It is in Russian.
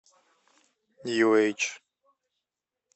нью эйдж